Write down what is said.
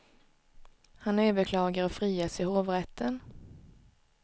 Han överklagar och frias i hovrätten.